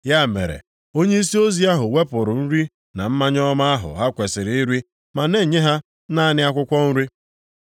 Ya mere onyeisi ozi ahụ wepụrụ nri na mmanya ọma ahụ ha kwesiri iri ma nye ha naanị akwụkwọ nri.